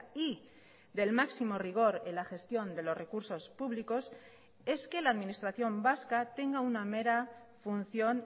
y del máximo rigor en la gestión de los recursos públicos es que la administración vasca tenga una mera función